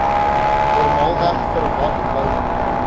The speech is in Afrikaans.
normaalweg verwag wou